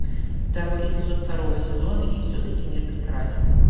второй эпизод второго сезона и все таки мир прекрасен